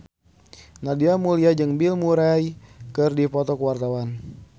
Nadia Mulya jeung Bill Murray keur dipoto ku wartawan